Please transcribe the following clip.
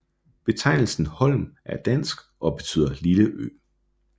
Betegnelsen Holm er dansk og betyder lille ø